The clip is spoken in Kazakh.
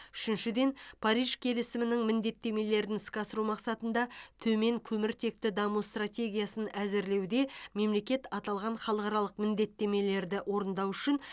үшіншіден париж келісімінің міндеттемелерін іске асыру мақсатында төмен көміртекті даму стратегиясын әзірлеуде мемлекет алған халықаралық міндеттемелерді орындау үшін